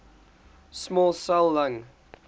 small cell lung